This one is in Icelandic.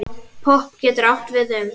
Popp getur átt við um